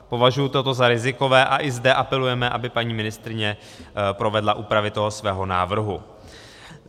Považuji toto za rizikové a i zde apelujeme, aby paní ministryně provedla úpravy toho svého návrhu.